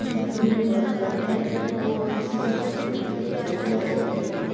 इसमें जो बन्दे वर्क करते हैं वो हर किसी की हेल्प करने के लिए तैयार ही बैठे रहते हैं।